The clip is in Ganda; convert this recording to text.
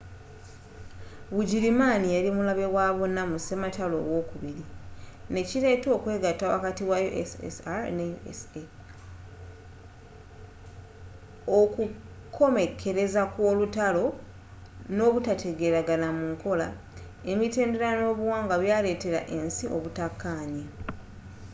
bugirimaani yali mulabe wabonna mu sematalo owokubiri nekiileeta okwegatta wakati wa ussr ne usa okukomekkereza kw'olutalo n'obutategeragana mu nkola emittendera n'obuwangwa byaletera ensi obutakanya